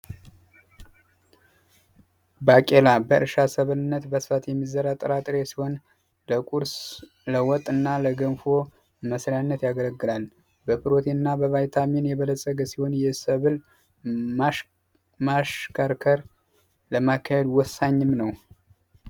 ባቄላ በእርሻ ሰብልነት በብዛት የሚዘራ ጥራጥሬ ሲሆን ለቁርስ ለወጥና ለገንፎ መስሪያነት ያገለግላል ፕሮቲንና በቫይታሚን የበለፀገ ሲሆን የሰብል ማሽከርከር ለማካሄድ ወሳኝም ነው።